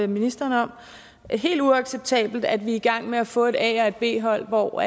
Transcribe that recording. ministeren om helt uacceptabelt at vi er i gang med at få et a og et b hold hvor